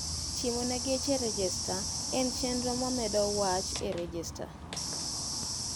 Timone geche rejesta en chendro mamedo wach e rejesta